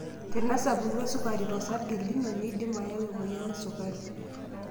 tenesapuku esukari to sarge lino neindim ayau emoyian esukari.